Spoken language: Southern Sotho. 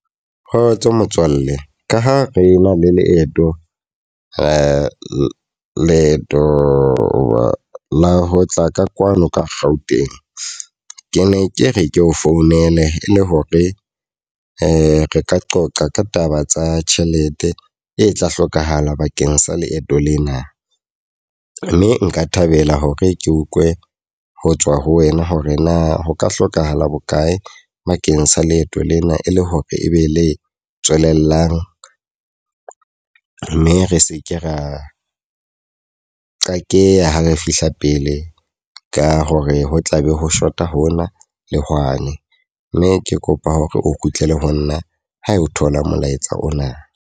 Kgotso motswalle, ka ha re na le leeto leeto la ho tla ka kwano ka Gauteng. Ke ne ke re ke o founele e le hore re ka qoqa ka taba tsa tjhelete e tla hlokahala bakeng sa leeto lena. Mme nka thabela hore ke utlwe ho tswa ho wena hore na ho ka hlokahala bokae bakeng sa leeto lena e le hore e be le tswelellang. Mme re seke ra qakeha ha re fihla pele. Ka hore ho tlabe ho short-a ho na le hwane. Mme ke kopa hore o kgutlele ho nna ha o thola molaetsa ona.